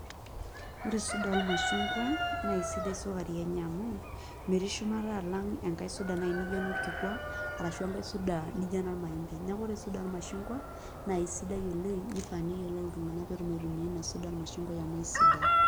Ore suda ormashungwa naa kesidai sukari enye amu metii shumata alang' enkai sudai naai nijo enorkikua ashu enkae suda nijio enormaembe, neeku ore suda ormashungwa naa isidai oleng' nifaa neyiolou iltung'anak pee etum aitumia ina suda ormashungwa amu kesidai.